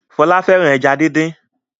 Fola fẹràn ejá dín dín.